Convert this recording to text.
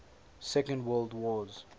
second world wars